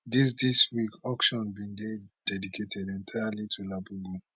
dis dis week auction bin dey dedicated entirely to labubu